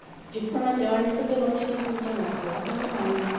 ਚੁੱਕਣਾ ਚਾੜਨੇ ਅਤੇ ਫੇਰ ਉਹਨੇ ਕੀ ਸਮਝਾਉਣਾ ਸੀ, ਸਵਾਹ ਸਮਝਾਉਣਾ ਸੀ।